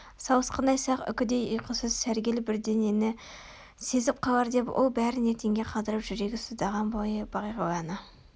сауысқандай сақ үкідей ұйқысыз сәргел бірдеңені сезіп қалар деп ол бәрін ертеңге қалдырып жүрегі сыздаған бойы бағиланы